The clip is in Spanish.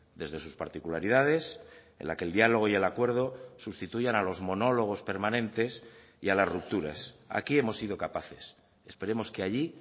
desde sus particularidades en la que el diálogo y el acuerdo sustituyan a los monólogos permanentes y a las rupturas aquí hemos sido capaces esperemos que allí